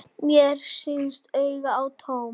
Mér sýnast augu þín tóm.